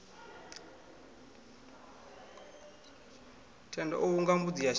thendo o hunga mbudzi yashavha